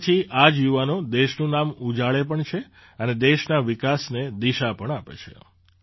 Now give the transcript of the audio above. તે પછી આ જ યુવાનો દેશનું નામ ઉજાળે પણ છે અને દેશના વિકાસને દિશા પણ આપે છે